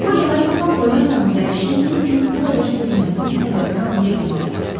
Poly Harinqton Polyanın gəlişinə Nensinin bu qədər sevinməsinin səbəbini anlaya bilmədi.